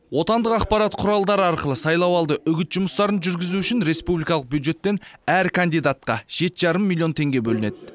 отандық ақпарат құралдары арқылы сайлауалды үгіт жұмыстарын жүргізу үшін республикалық бюджеттен әр кандидатқа жеті жарым миллион теңге бөлінеді